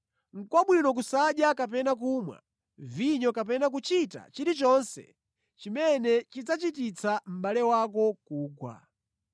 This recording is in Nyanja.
Nʼkwabwino kusadya kapena kumwa vinyo kapena kuchita chilichonse chimene chidzachititsa mʼbale wako kugwa.